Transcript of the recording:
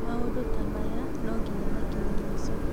Maũndũ ta maya no nginya makinye mũico